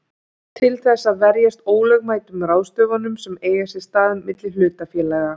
til þess að verjast ólögmætum ráðstöfunum sem eiga sér stað milli hlutafélaga.